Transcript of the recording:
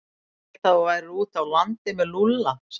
Ég hélt að þú værir úti á landi með Lúlla sagði Örn.